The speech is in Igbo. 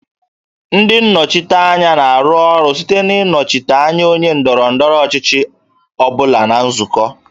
Ndị nnọchiteanya na-arụ ọrụ site na ịnọchite anya onye ndọrọ ndọrọ ọchịchị ọ bụla na nzukọ